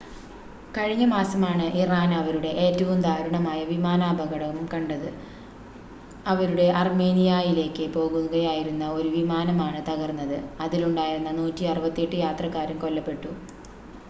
കഴിഞ്ഞ മാസമാണ് ഇറാൻ അവരുടെ ഏറ്റവും ദാരുണമായ വിമാനാപകടം കണ്ടത് അവരുടെ അർമേനിയായിലേക്ക് പോകുകയായിരുന്ന ഒരു വിമാനമാണ് തകർന്നത് അതിലുണ്ടായിരുന്ന 168 യാത്രക്കാരും കൊല്ലപ്പെട്ടു